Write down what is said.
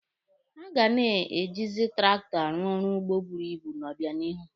A ga na-ejizi traktọ arụ ọrụ ugbo buru ibu n'obịanihu.